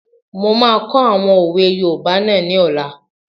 Mo máa kọ́ àwọn òwe yoòbá náà ní ọ̀la